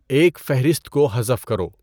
ایک فہرست کو حذف کرو